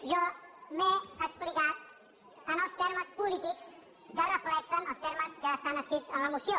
jo m’he explicat en els termes polítics que reflecteixen els termes que estan escrits en la moció